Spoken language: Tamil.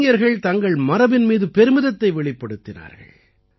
இளைஞர்கள் தங்கள் மரபின் மீது பெருமிதத்தை வெளிப்படுத்தினார்கள்